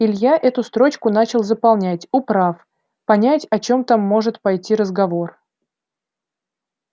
илья эту строчку начал заполнять управ понять о чём там может пойти разговор